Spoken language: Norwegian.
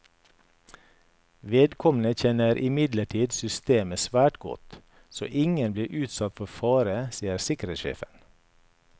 Vedkommende kjenner imidlertid systemet svært godt, så ingen ble utsatt for fare, sier sikkerhetssjefen.